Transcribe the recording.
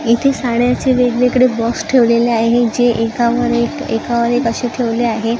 इथे साड्यांचे वेगवेगळे बॉक्स ठेवलेले आहे जे एकावर एक एकावर एक असे ठेवले आहे.